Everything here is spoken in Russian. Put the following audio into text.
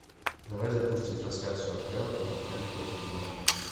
давай запусти трансляцию апл тоттенхэм против бернли